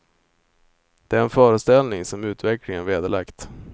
Det är en föreställning som utvecklingen vederlagt.